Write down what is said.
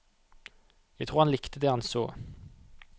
Jeg tror han likte det han så.